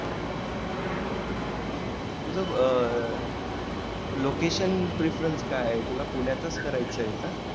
तुझ location preference काय आहे तुला पुण्यातच करायच आहे